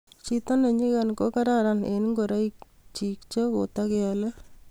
chito ne nyikan ko kararanit eng ngoroik chi che katekeole